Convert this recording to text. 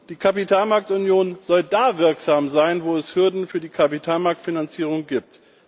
Die Kapitalmarktunion soll da wirksam sein, wo es Hürden für die Kapitalmarktfinanzierung gibt.